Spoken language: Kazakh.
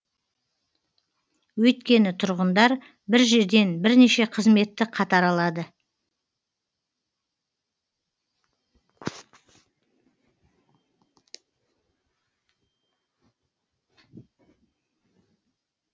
өйткені тұрғындар бір жерден бірнеше қызметті қатар алады